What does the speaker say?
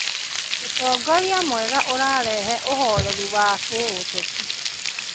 Ũtongoria mwega ũrarehe ũhoreri wa kĩũteti